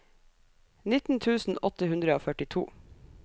nitten tusen åtte hundre og førtito